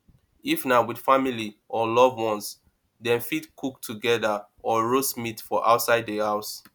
if na with family or loved one dem fit cook together or roast meat for outside di house